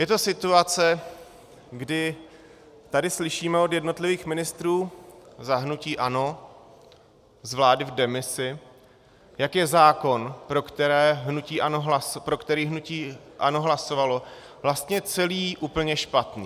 Je to situace, kdy tady slyšíme od jednotlivých ministrů za hnutí ANO z vlády v demisi, jak je zákon, pro který hnutí ANO hlasovalo, vlastně celý úplně špatný.